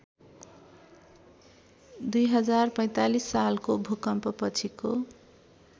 २०४५ सालको भूकम्पपछिको